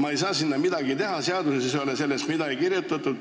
nad ei saa midagi teha, seaduses ei ole sellest sõnagi.